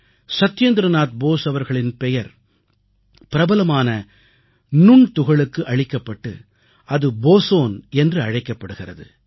சத்யேந்திரநாத் போஸ் அவர்களின் பெயர் பிரபலமான நுண்துகளுக்கு அளிக்கப்பட்டு அது போஸோன் என்று அழைக்கப்படுகிறது